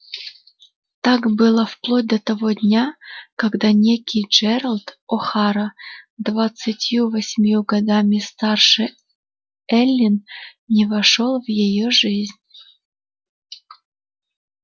так было вплоть до того дня когда некий джералд охара двадцатью восемью годами старше эллин не вошёл в её жизнь